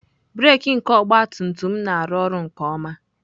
Breek nke ọgabtumtum m na-arụ ọrụ nke ọma.